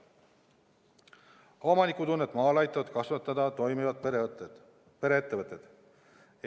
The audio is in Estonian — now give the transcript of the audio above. Omanikutunnet maal aitavad kasvatada toimivad pereettevõtted.